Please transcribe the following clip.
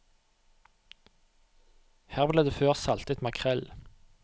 Her ble det før saltet makrell.